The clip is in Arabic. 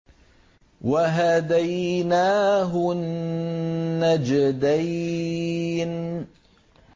وَهَدَيْنَاهُ النَّجْدَيْنِ